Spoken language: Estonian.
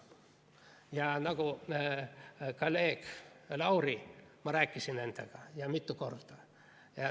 Ja nagu kolleeg Laurigi ma rääkisin nendega ja mitu korda.